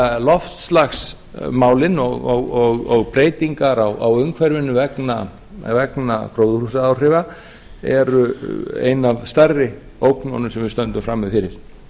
að loftslagsmálin og breytingar á umhverfinu vegna gróðurhúsaáhrifa eru ein af stærri ógnunum sem við stöndum frammi fyrir